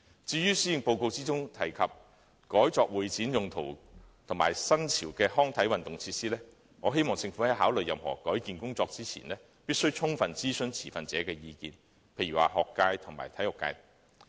至於施政報告提及把運動場改作會展用途及提供新潮的康體運動設施，我希望政府在考慮任何改建工程前，必須充分諮詢持份者的意見，例如學界和體育界等。